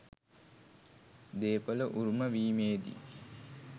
දේපල උරුම වීමේදී